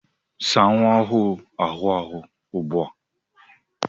Saa nwa ọhụrụ ahụ́ ahụ̀ ugbu a!